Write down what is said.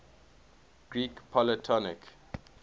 greek polytonic